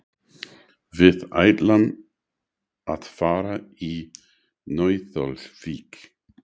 Við ætlum að fara í Nauthólsvík.